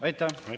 Aitäh!